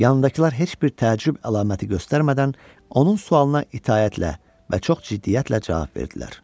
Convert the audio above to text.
Yanındakılar heç bir təəccüb əlaməti göstərmədən onun sualına itaətlə və çox ciddiyyətlə cavab verdilər.